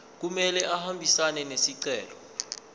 kumele ahambisane nesicelo